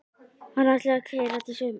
Hann ætlar að keyra Dísu heim.